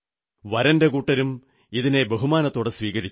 വരന്റെ കൂട്ടരും ഇതിനെ ബഹുമാനത്തോടെ സ്വീകരിച്ചു